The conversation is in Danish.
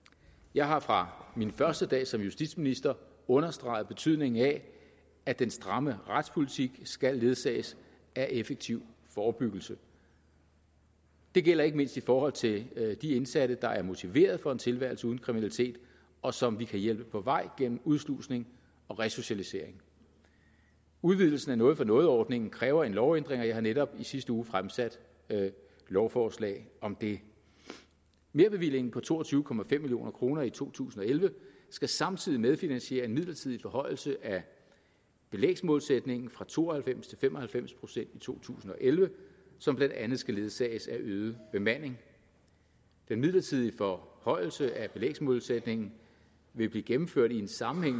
jeg har fra min første dag som justitsminister understreget betydningen af at den stramme retspolitik skal ledsages af effektiv forebyggelse det gælder ikke mindst i forhold til de indsatte der er motiveret for en tilværelse uden kriminalitet og som vi kan hjælpe på vej gennem udslusning og resocialisering udvidelsen af noget for noget ordningen kræver en lovændring og jeg har netop i sidste uge fremsat lovforslag om det merbevillingen på to og tyve million kroner i to tusind og elleve skal samtidig medfinansiere en midlertidig forhøjelse af belægsmålsætningen fra to og halvfems til fem og halvfems procent i to tusind og elleve som blandt andet skal ledsages af en øget bemanding den midlertidige forhøjelse af belægsmålsætningen vil blive gennemført i sammenhæng